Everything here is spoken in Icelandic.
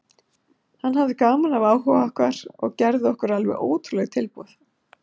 Hann hafði gaman af áhuga okkar og gerði okkur alveg ótrúlegt tilboð.